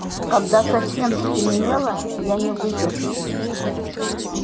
когда совсем стемнело я не выдержал